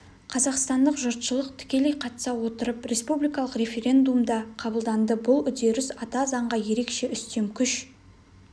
қазақстандық жұртшылық тікелей қатыса отырып республикалық референдумда қабылданды бұл үдеріс ата заңға ерекше үстем күш